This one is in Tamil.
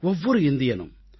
ஒவ்வொரு இந்தியனும்